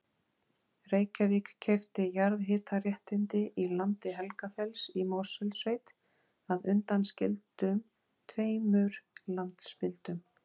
Reykjavík keypti jarðhitaréttindi í landi Helgafells í Mosfellssveit að undanskildum tveimur landspildum.